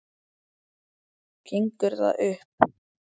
Gengur það upp?